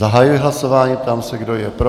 Zahajuji hlasování, ptám se, kdo je pro.